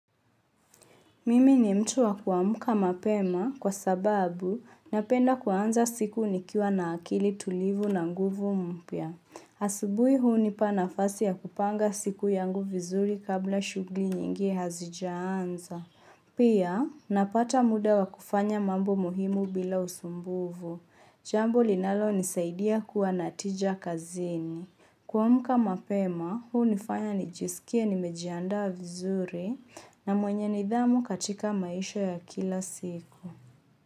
Mimi ni mtu wa kuamka mapema kwa sababu napenda kuanza siku nikiwa na akili tulivu na nguvu mpya. Asubui hunipa nafasi ya kupanga siku yangu vizuri kabla shughuli nyingi hazijaanza. Pia, napata muda wa kufanya mambo muhimu bila usumbufu. Jambo linalonisaidia kuwa na tija kazini. Kuamka mapema, hunifanya nijisikie nimejiandaa vizuri na mwenye nidhamu katika maisha ya kila siku.